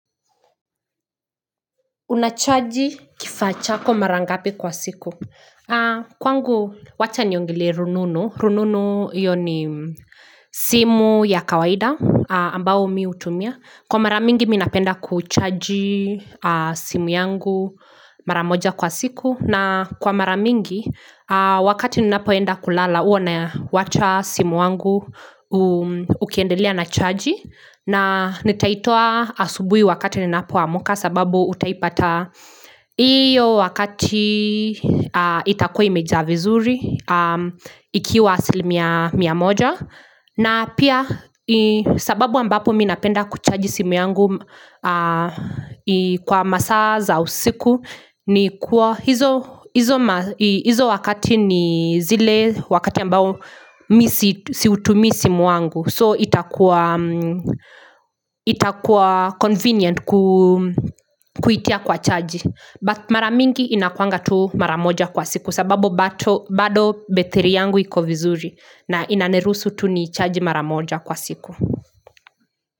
Unachaji kifaa chako mara ngapi kwa siku. Kwangu wacha niongelee rununu. Rununu hiyo ni simu ya kawaida ambao mimi utumia. Kwa mara mingi mimibnapenda kuchaji simu yangu mara moja kwa siku. Na kwa mara mingi wakati ninapoenda kulala huwa nawacha simu wangu ukiendelea na chaji na nitaitoa asubui wakati ninapoamka sababu utaipata iyo wakati itakuwa imejaa vizuri ikiwa asilimia mia moja na pia sababu ambapo mimi napenda kuchaji simu yangu kwa masaa za usiku ni kuwa hizo wakati ni zile wakati ambapo siutumi simu wangu So itakua convenient kuitia kwa chaji but mara mingi inakuanga tu mara moja kwa siku sababu bado bethri yangu iko vizuri na inaniruusu tu nichaji mara moja kwa siku.